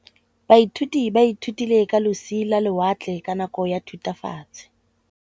Baithuti ba ithutile ka losi lwa lewatle ka nako ya Thutafatshe.